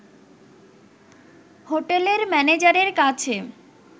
হোটেলের ম্যানেজারের কাছে